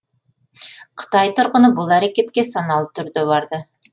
қытай тұрғыны бұл әрекетке саналы түрде барды